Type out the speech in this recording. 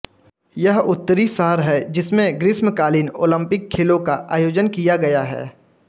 यह उत्तरी शहर है जिसमें ग्रीष्मकालीन ओलंपिक खेलों का आयोजन किया गया है